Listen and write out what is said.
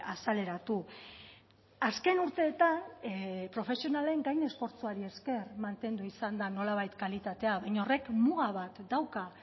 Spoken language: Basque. azaleratu azken urteetan profesionalen gain esfortzuari esker mantendu izan da nolabait kalitatea baina horrek muga bat dauka